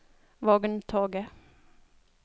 vogntoget